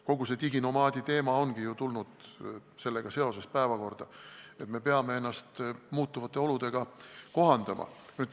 Kogu see diginomaadi teema ongi ju tulnud päevakorda seoses sellega, et me peame ennast muutuvate oludega kohandama.